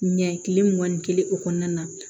Ɲɛ kile mugan ni kelen o kɔnɔna na